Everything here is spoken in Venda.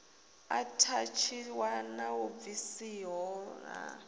athatshiwa na u bvisiho ha